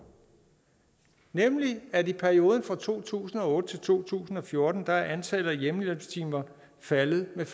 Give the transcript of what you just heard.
nemlig at i perioden fra to tusind og otte til to tusind og fjorten er antallet af hjemmehjælpstimer faldet med